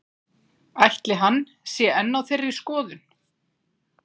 Ætli hann sé enn á þeirri skoðun?